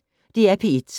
DR P1